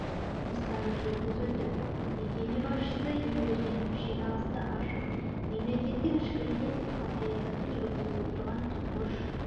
жұмыстары жүргізілді мекеме басшысы ембергенов жиналысты ашып мемлекеттің ішкі және сыртқы саясатын жүргізіп отырған тұңғыш